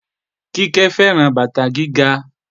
Kíkẹ́ fẹ́ràn bàtà gíga